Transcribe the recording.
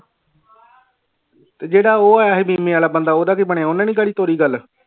ਤੇ ਜਿਹੜਾ ਉਹ ਆਇਆ ਸੀ ਬੀਮੇ ਵਾਲਾ ਬੰਦਾ ਉਹਦਾ ਕੀ ਬਣਿਆ ਉਹਨੇ ਨੀ ਕਰੀ ਤੋਰੀ ਗੱਲ